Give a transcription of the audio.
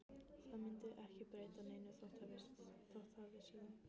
Það myndi ekki breyta neinu þótt það vissi það.